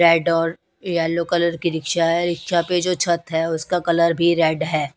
Red और yellow colour की rickshaw है रिक्शा पे जो छत है उसका कलर भी रेड है।